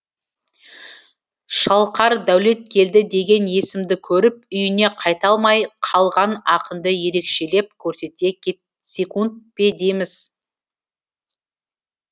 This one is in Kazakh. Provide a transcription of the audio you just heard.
шалқар дәулеткелді деген есімді көріп үйіне қайта алмай қалған ақынды ерекшелеп көрсете кетсекунд пе дейміз